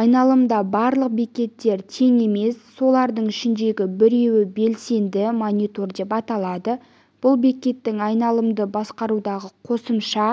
айналымда барлық бекеттер тең емес солардың ішіндегі біреуі белсенді монитор деп аталады бұл бекеттің айналымды басқарудағы қосымша